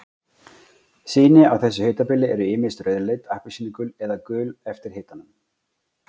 Sýni á þessu hitabili eru ýmist rauðleit, appelsínugul eða gul eftir hitanum.